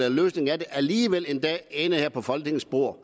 alligevel en dag kan ende her på folketingets bord